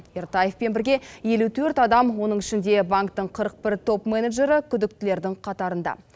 ертаевпен бірге елу төрт адам оның ішінде банктің қырық бір топ менеджері күдіктілердің қатарында